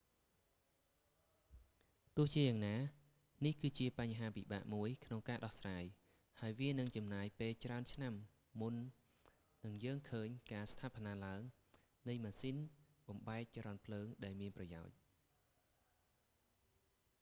ទោះយ៉ាងណា នេះគឺជាបញ្ហាពិបាកមួយក្នុងការដោះស្រាយ ហើយវានឹងចំណាយពេលច្រើនឆ្នាំមុននិងយើងឃើញការស្ថានាឡើងនៃម៉ាស៊ីនបំបែកចរន្តភ្លើងដែលមានប្រយោជន៍